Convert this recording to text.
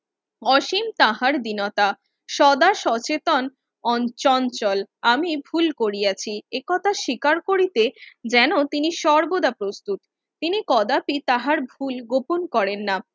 অসীম তাহার দীনতা, সদা সচেতন অন চঞ্চল আমি ভুল করিয়াছি একথা স্বীকার করিতে যেন তিনি সর্বদা প্রস্তুত তিনি কদাপি তাহার ভুল গোপন করেন না।